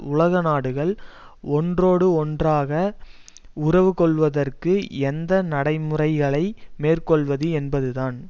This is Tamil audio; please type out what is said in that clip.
உலக நாடுகள் ஒன்றோடொன்று உறவு கொள்வதற்கு எந்த நடை முறைகளை மேற்கொள்வது என்பதுதான்